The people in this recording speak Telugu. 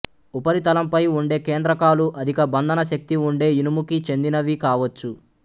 ఉపరితలంపై ఉండే కేంద్రకాలు అధిక బంధన శక్తి ఉండే ఇనుముకి చెందినవి కావచ్చు